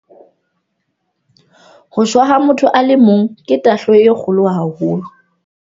"Ho shwa ha motho a le mong ke tahlehelo e kgolo haholo."